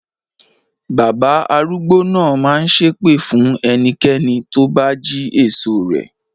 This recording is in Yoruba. Bàbá arúgbó náà máa ṣépè fún ẹnikẹ́ni tó bá jí èso rẹ̀.